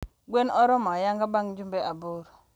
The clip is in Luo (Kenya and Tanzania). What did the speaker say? Gwen oromo ayang'a bang jumbe aboro.